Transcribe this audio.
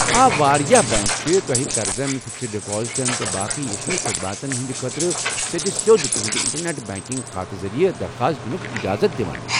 آ، واریاہ بنٛک چِھ تۄہہِ قرضن ، فکسڈ ڈپازٹن تہٕ باقٕے یتھنے خدماتن ہٕنٛدٕ خٲطرٕ سیٚدِ سیوٚد تُہنٛدِ انٹرنٮ۪ٹ بنٛکنٛگ کھاتہٕ ذریع درخاس دِنُک اجازت دِوان۔